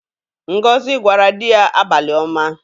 Ngozi gwara di ya abalị-oma.